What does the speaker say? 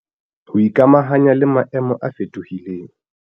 Ho ikamahanya le maemo a fetohileng